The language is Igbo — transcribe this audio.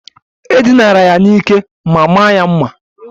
E dinara ya n'ike ma maa ya mma.